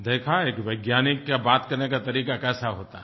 देखा एक वैज्ञानिक का बात करने का तरीका कैसा होता है